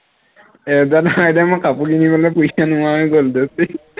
এহেজাৰ টকা এতিয়া মোৰ কাপোৰ কিনিবলে পইচা নোহোৱা হৈ গল দোস্তি